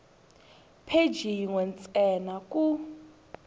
pheji yin we ntsena ku